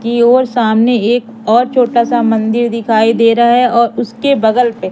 की ओर सामने एक और छोटा सा मंदिर दिखाई दे रहा है और उसके बगल पे--